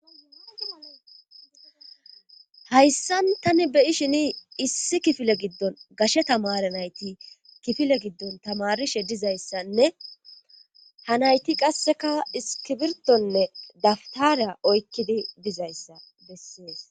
hayssan tani beyi shini issi kifile giddon gashe tamare nayti kifile giddon tamarishe dizayssanne ha nayti qasseka iskibirtonne daftariya oykkidi dizayssa bessees.